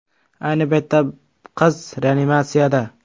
Ayni paytda qiz reanimatsiyada.